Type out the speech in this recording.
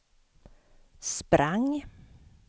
sprang